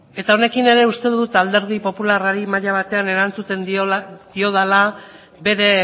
eta honekin ere uste dut alderdi popularrari maila batean erantzuten diodala bere